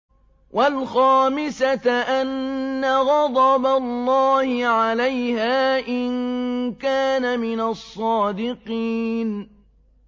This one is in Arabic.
وَالْخَامِسَةَ أَنَّ غَضَبَ اللَّهِ عَلَيْهَا إِن كَانَ مِنَ الصَّادِقِينَ